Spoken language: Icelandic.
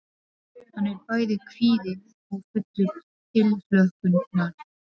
Hann er bæði kvíðinn og fullur tilhlökkunar.